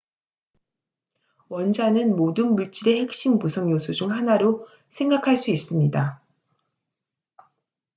원자는 모든 물질의 핵심 구성 요소 중 하나로 생각할 수 있습니다